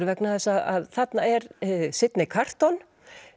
vegna þess að þarna er Sidney Carton